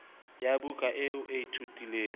ya buka eo o ithutileng